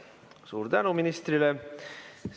Suur tänu ministrile!